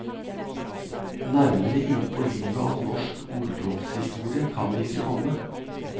Nærmere inn på livet av norsk orlogshistorie kan vi ikke komme.